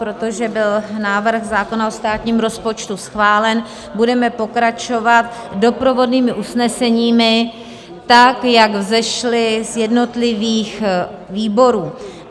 Protože byl návrh zákona o státním rozpočtu schválen, budeme pokračovat doprovodnými usneseními tak, jak vzešla z jednotlivých výborů.